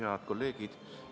Head kolleegid!